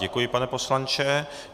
Děkuji, pane poslanče.